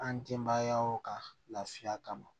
An denbayaw kan lafiya kama